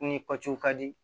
Ni patɔrɔn ka di